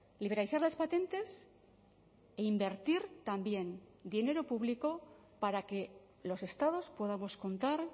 liberalizar las patentes e invertir también dinero público para que los estados podamos contar